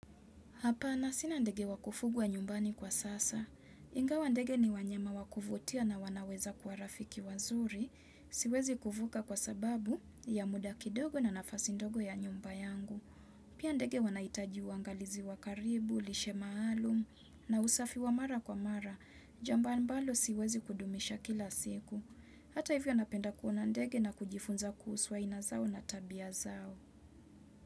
Hapana sinandege wakufugwa nyumbani kwa sasa. Inga wandege ni wanyama wakuvutia na wanaweza kuwa rafiki wazuri. Siwezi kufuga kwa sababu ya muda kidogo na nafasi ndogo ya nyumba yangu. Pia ndege wanahitaji uangalizi wakaribu, lishemaalum na usafi wa mara kwa mara. Jambo ambalo siwezi kudumisha kila siku. Hata hivyo napenda kuonandege na kujifunza kuhusu ainazao na tabia zao.